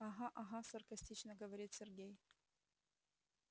ага ага саркастично говорит сергей